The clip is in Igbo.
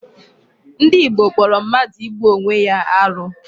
Ndị Igbo kpọrọ mmadụ igbu Onwe ya arụ.